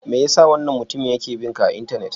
Me ya sa wannan mutumin yake bin ka a Intanet?